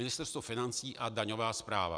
Ministerstvo financí a daňová správa.